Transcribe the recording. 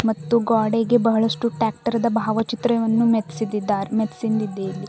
ಮತ್ತು ಗ್ವಾಡೆಗೆ ಬಹಳಷ್ಟು ಟ್ರ್ಯಾಕ್ಟರ್ದ ಭಾವಚಿತ್ರವನ್ನು ಮೆತ್ಸಿದಿದ್ದಾರೆ ಮೆತ್ಸಿಂದಿದೆ ಇಲ್ಲಿ.